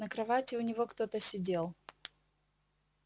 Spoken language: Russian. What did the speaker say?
на кровати у него кто-то сидел